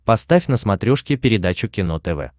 поставь на смотрешке передачу кино тв